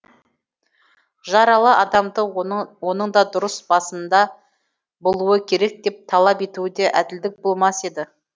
жаралы адамды оның да ұрыс басында болуы керек деп талап етуі де әділдік болмас еді